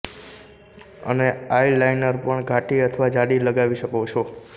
અને આઈલાઈનર પણ ઘાટી અથવા જાડી લગાવી શકો છો